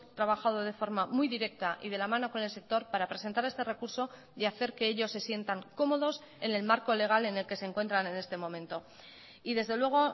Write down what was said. trabajado de forma muy directa y de la mano con el sector para presentar este recurso y hacer que ellos se sientan cómodos en el marco legal en el que se encuentran en este momento y desde luego